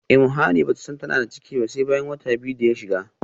imuhani bata san tana da ciki ba sai bayan wata biyu da shiga